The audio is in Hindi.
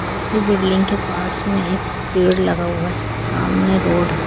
औ उसी बिल्डिंग के पास में एक पेड़ लगा हुआ। सामने रोड है।